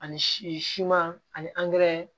Ani siman ani angɛrɛ